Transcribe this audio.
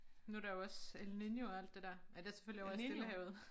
Nu der jo også El Niño og alt det der men det selvfølgelig over i Stillehavet